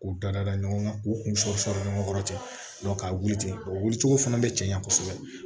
K'u da da ɲɔgɔn kan u kun bɛ sɔrɔri ɲɔgɔn kɔrɔ ten k'a wuli ten o wuli cogo fana bɛ caya kosɛbɛ